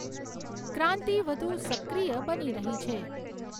ક્રાંતિ વધુ સક્રિય બની રહી છે.